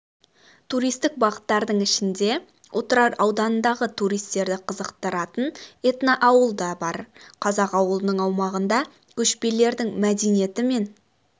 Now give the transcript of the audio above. туристік бағыттардың ішінде отырар ауданындағы туристерді қызықтыратын этноауыл да бар қазақ ауылының аумағында көшпенділердің мәдениеті мен